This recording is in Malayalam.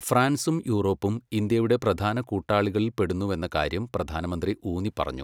ഫ്രാൻസും യൂറോപ്പും ഇന്ത്യയുടെ പ്രധാന കൂട്ടാളികളിൽപ്പെടുന്നുവെന്ന കാര്യം പ്രധാനമന്ത്രി ഊന്നിപ്പറഞ്ഞു.